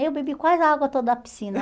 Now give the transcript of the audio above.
Eu bebi quase a água toda da piscina.